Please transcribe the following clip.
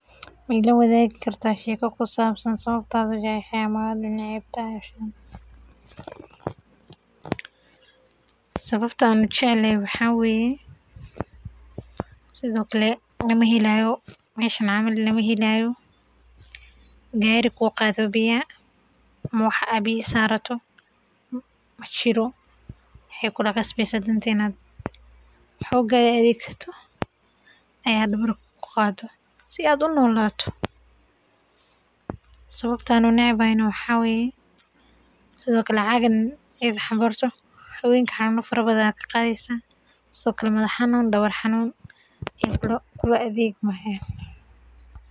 Ma ila waadigi kartaa sheeka ku sabsan sababta aad ujeceshahay ama unecbahay Sabato aan uneceb yahay waxaa waye ma heleysid gaari kuu qaado waa inaad qaado madax xanuun ayaad ka qadeysa.